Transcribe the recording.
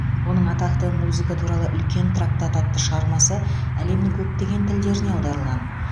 оның атақты музыка туралы үлкен трактат атты шығармасы әлемнің көптеген тілдеріне аударылған